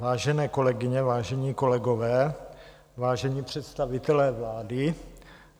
Vážené kolegyně, vážení kolegové, vážení představitelé vlády.